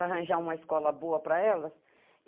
Arranjar uma escola boa para elas.